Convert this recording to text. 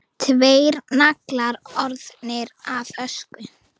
Tveir naglar orðnir að ösku.